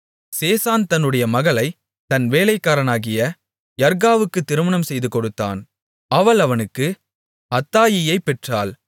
சேசான் தன்னுடைய மகளைத் தன் வேலைக்காரனாகிய யர்காவுக்கு திருமணம் செய்துகொடுத்தான் அவள் அவனுக்கு அத்தாயியைப் பெற்றாள்